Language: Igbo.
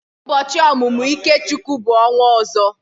Ụbọọchi omumu Ikechukwu bu onwa ozo.